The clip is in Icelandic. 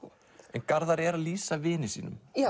en Garðar er að lýsa vini sínum